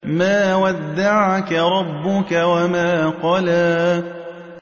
مَا وَدَّعَكَ رَبُّكَ وَمَا قَلَىٰ